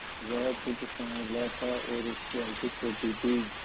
वह कुछ साँवला था और उसकी आंखें छोटी थीं